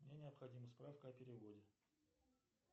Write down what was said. мне необходима справка о переводе